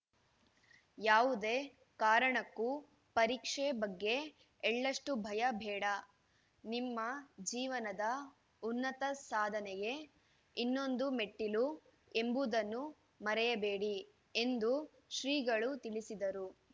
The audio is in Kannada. ಯಾವುದೇ ಕಾರಣಕ್ಕೂ ಪರೀಕ್ಷೆ ಬಗ್ಗೆ ಎಳ್ಳಷ್ಟುಭಯ ಬೇಡ ನಿಮ್ಮ ಜೀವನದ ಉನ್ನತ ಸಾಧನೆಗೆ ಇದೊಂದು ಮೆಟ್ಟಿಲು ಎಂಬುದನ್ನು ಮರೆಯಬೇಡಿ ಎಂದು ಶ್ರೀಗಳು ತಿಳಿಸಿದರು